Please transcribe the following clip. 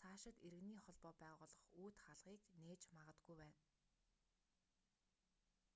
цаашид иргэний холбоо байгуулах үүд хаалгыг нээж магадгүй байна